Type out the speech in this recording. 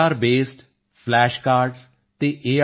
ਆਰਬੇਸਡ flash cards ਅਤੇ ਏ